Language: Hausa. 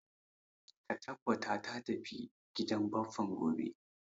Ka tabbata ka tafi gidan bappan ka gobe